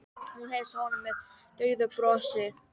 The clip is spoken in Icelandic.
Hún heilsaði honum með daufu brosi.